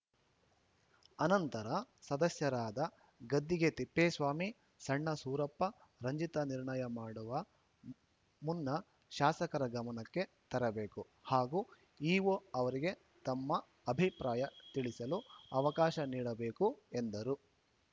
ಅನಂತರ ಸದಸ್ಯರಾದ ಗದ್ದಿಗೆ ತಿಪ್ಪೇಸ್ವಾಮಿ ಸಣ್ಣ ಸೂರಪ್ಪ ರಂಜಿತಾ ನಿರ್ಣಯ ಮಾಡುವ ಮುನ್ನ ಶಾಸಕರ ಗಮನಕ್ಕೆ ತರಬೇಕು ಹಾಗೂ ಇಒ ಅವರಿಗೆ ತಮ್ಮ ಅಭಿಪ್ರಾಯ ತಿಳಿಸಲು ಅವಕಾಶ ನೀಡಬೇಕು ಎಂದರು